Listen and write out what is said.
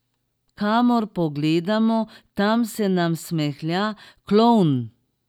Kamor pogledamo, tam se nam smehlja klovn.